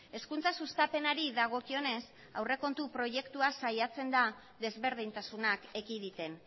hezkuntza sustapenari dagokionez aurrekontu proiektua saiatzen da desberdintasunak ekiditen